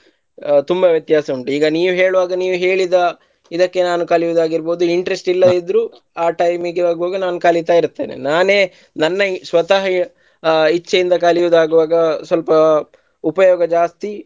ಅಹ್ ತುಂಬಾ ವ್ಯತ್ಯಾಸ ಉಂಟು ಈಗ ನೀವು ಹೇಳುವಾಗ ನೀವು ಹೇಳಿದ ಇದಕ್ಕೆ ನಾನು ಕಲಿಯೊದಾಗಿರ್ಬೋದು interest ಇಲ್ಲದಿದ್ರು ಅಹ್ time ಗೆ ಹೋಗುವಾಗ ನಾವು ಕಲಿತಾಯಿರ್ತೆನೆ ನಾನೇ ನನ್ನ ಸ್ವತಃ ಆ ಇಚ್ಚೆಯಿಂದ ಕಲಿಯುವುದಾಗುವಾಗ ಸ್ವಲ್ಪ ಉಪಯೋಗ ಜಾಸ್ತಿ.